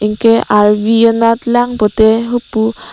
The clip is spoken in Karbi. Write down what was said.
arvi anat lang pute hopu--